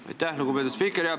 Aitäh, lugupeetud spiiker!